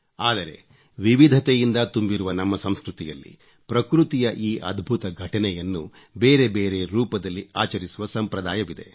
ಆದರೆ ವಿವಿಧತೆಯಿಂದ ತುಂಬಿರುವ ನಮ್ಮ ಸಂಸ್ಕೃತಿಯಲ್ಲಿ ಪ್ರಕೃತಿಯ ಈ ಅದ್ಭುತ ಘಟನೆಯನ್ನು ಬೇರೆ ಬೇರೆ ರೂಪದಲ್ಲಿ ಆಚರಿಸುವ ಸಂಪ್ರದಾಯವಿದೆ